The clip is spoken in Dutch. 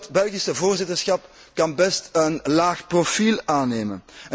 Dus dat Belgische voorzitterschap kan best een laag profiel aannemen.